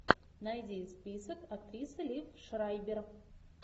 найди список актрисы лив шрайбер